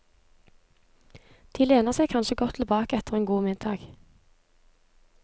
De lener seg kanskje godt tilbake etter en god middag.